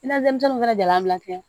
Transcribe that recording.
I na denmisɛnw fana jala bila